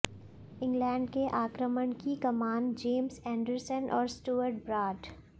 England के आक्रमण की कमान जेम्स एंडरसन और स्टुअर्ट ब्राड